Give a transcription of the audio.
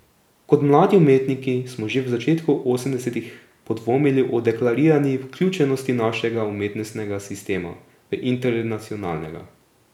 Kot mladi umetniki smo že v začetku osemdesetih podvomili o deklarirani vključenosti našega umetnostnega sistema v internacionalnega.